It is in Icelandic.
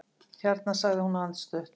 Hérna sagði hún andstutt.